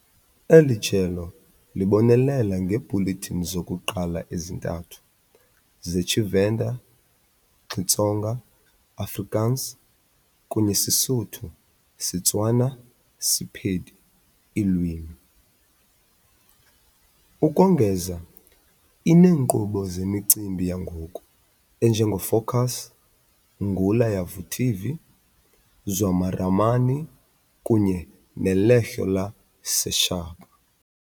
Eli jelo libonelela ngeebhulethini zokuqala ezintathu zeTshivenda - Xitsonga, Afrikaans, kunye SeSotho - SeTswana - Sepedi iilwimi. Ukongeza, ineenkqubo zemicimbi yangoku enje ngeFokus, Ngula Ya Vutivi, Zwa Maramani kunye neLehlo La Sechaba.